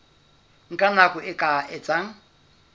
nka nako e ka etsang